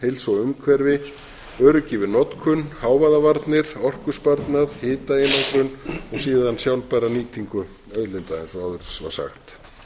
heilsu og umhverfi öryggi við notkun hávaðavarnir orkusparnað hitaeinangrun og síðan sjálfbæra nýtingu auðlinda eins og áður var sagt